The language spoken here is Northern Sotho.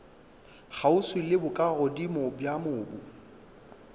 kgauswi le bokagodimo bja mobu